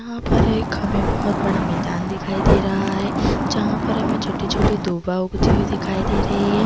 यहाँ पर एक हमें बहुत बड़ा मैदान दिखाई दे रहा है जहाँ पर हमें छोटी-छोटी डोवा उगती दिखाई दे रही है।